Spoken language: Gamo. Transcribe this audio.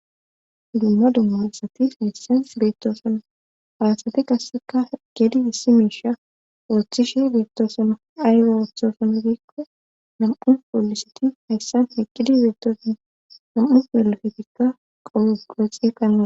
Dumma dumma assati hayssan beettosono haasati kasseka gedi issi miisha ooththishe beettosono aywe ooththosona biikko nam'u pooliseti hayssan heqqidi beettosin nam'u delafetikka qolo qooxi kannaa.